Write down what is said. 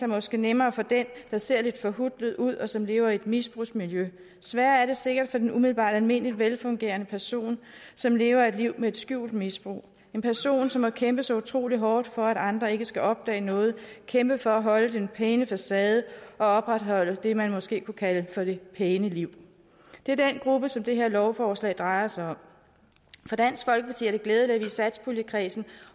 måske nemmere for den der ser lidt forhutlet ud og som lever i et misbrugsmiljø sværere er det sikkert for den umiddelbart almindelige velfungerende person som lever et liv med et skjult misbrug en person som har kæmpet så utrolig hårdt for at andre ikke skal opdage noget kæmpet for at holde den pæne facade og opretholde det man måske kunne kalde for det pæne liv det er den gruppe som det her lovforslag drejer sig om for dansk folkeparti er det glædeligt at vi i satspuljekredsen